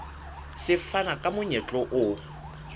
se fana ka monyetla o